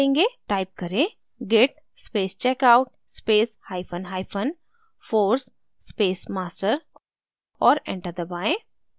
type करें: git space checkout space hyphen hyphen force space master और enter दबाएँ